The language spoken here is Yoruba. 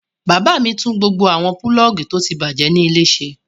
Bàbá mi tún gbogbo àwọn pulọ́ọ́gì tó ti bàjẹ́ nílé ṣe.